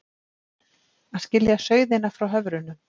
Að skilja sauðina frá höfrunum